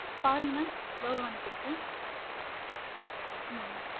பாருங்க mam logo அனுப்பிருக்கேன். ஆஹ்